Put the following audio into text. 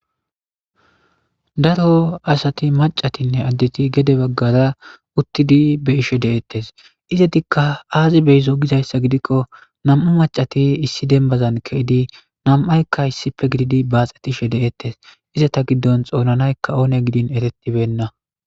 daro asati macatinne addeti gede baggara uttidi be'ishe de7eettes izadikka aazi beyzo gizayssa gidikko nam7a macati issi denbazan keidi nam7aykka issipe gididi baaxetishe deettes iza ta giddon xoonanayka oone gidin eretibenna